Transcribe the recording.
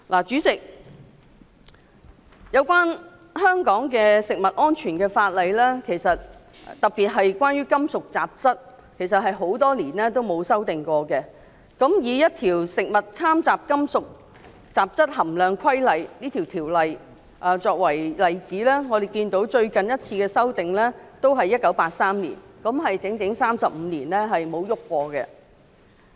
主席，香港的食物安全法例，特別是規管金屬雜質的法例，其實多年來也沒有作出修訂。以這項《規例》為例，我們可以看到最近一次是在1983年作出修訂，即整整35年沒有改動。